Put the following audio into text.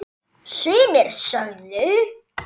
Sumir sögðu